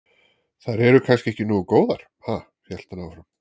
Þær eru kannski ekki nógu góðar, ha? hélt hann áfram.